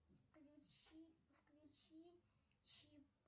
включи включи чип